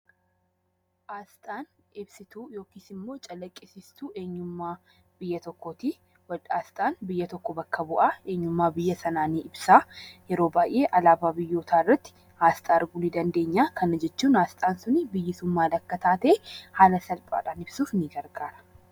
Asxaan ibsituu calaqqisiistuu eenyummaa biyya tokkooti. Asxaan biyya tokko bakka bu'a. Eenyummaa biyya sanaa yeroo baay'ee alaabaa biyyootaa irratti asxaa arguu ni dandeenya. Asxaan sun biyyi sun maal akka taate ibsuuf ni gargaara.